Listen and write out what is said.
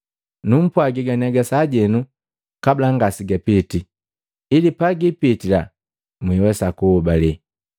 Numpwagi ganiaga sajenu kabula ngasegapitii, ili pagiipitila nhwesa kuhobale.